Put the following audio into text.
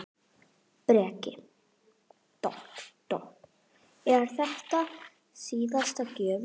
Breki: Er þetta síðasta gjöfin?